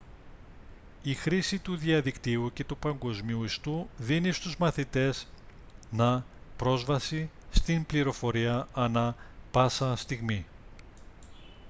η χρήση του διαδικτύου και του παγκόσμιου ιστού δίνει στους μαθητές να πρόσβαση στην πληροφορία ανά πάσα στιγμή